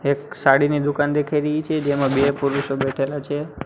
એક સાડીની દુકાન દેખાઈ રહી છે જેમા બે પુરુષો બેઠેલા છે.